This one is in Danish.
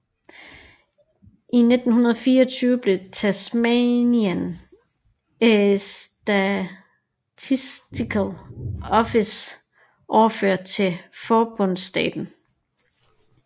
I 1924 blev Tasmanian Statistical Office overført til forbundsstaten